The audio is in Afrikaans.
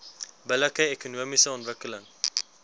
billike ekonomiese ontwikkeling